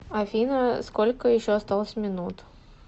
афина сколько еще осталось минут